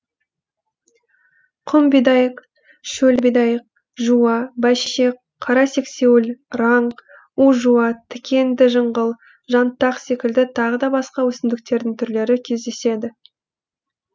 құм бидайық шөл бидайық жуа бәйшешек қара сексеуіл раң у жуа тікенді жыңғыл жантақ секілді тағыда басқа өсімдіктердің түрлері кездеседі